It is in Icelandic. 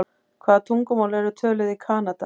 Hvaða tungumál eru töluð í Kanada?